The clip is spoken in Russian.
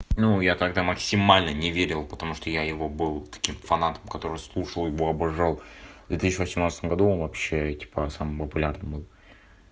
ну я тогда максимально не верил потому что я его был таким фанатом который слушал его обожал в две тысячи восемнадцатом году он вообще типа самым популярным был